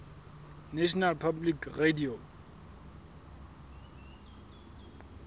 national public radio